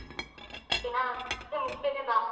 Okay ನ ಎರಡ್ ದಿವ್ಸ ಮುಂಚೆನೆ ಬಾ.